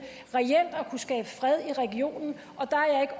reelt at kunne skabe fred i regionen